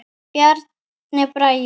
Bjarni Bragi.